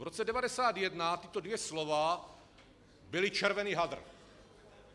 V roce 1991 tato dvě slova byla červený hadr.